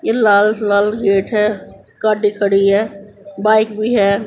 ये लाल लाल गेट है गाडी खड़ी है बाइक भी है।